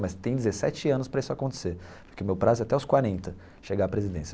Mas tem dezessete anos para isso acontecer, porque o meu prazo é até os quarenta chegar à presidência.